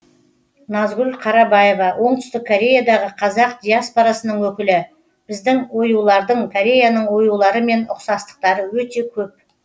назгүл қарабаева оңтүстік кореядағы қазақ диаспорасының өкілі біздің оюлардың кореяның оюларымен ұқсастықтары өте көп